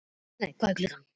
Erlen, hvað er klukkan?